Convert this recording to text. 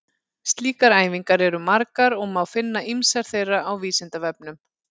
Slíkar æfingar eru margar og má finna ýmsar þeirra á Vísindavefnum.